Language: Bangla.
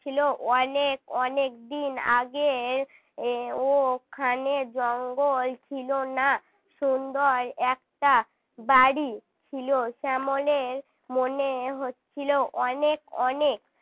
ছিল অনেক অনেক দিন আগের ওখানে জঙ্গল ছিল না সুন্দর একটা বাড়ি ছিল শ্যামলের মনে হচ্ছিল অনেক অনেক